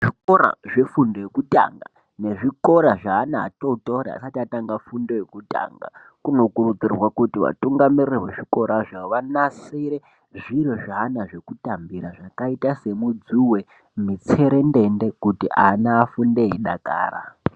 Zvikora zvefundo yekutanga nezvikora zveana atotori asati atanga fundo yekutanga. Kunokurudzirwa kuti atungamiriri vezvikorazvo vanasire zviro zveana zvekutambira zvakaita semidzuve, mitserendende kuti ana afunde eidakara.